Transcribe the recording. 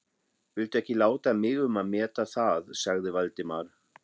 Viltu ekki láta mig um að meta það sagði Valdimar.